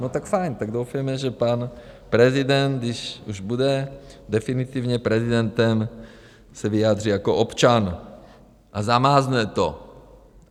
No, tak fajn, tak doufejme, že pan prezident, když už bude definitivně prezidentem, se vyjádří jako občan a zamázne to.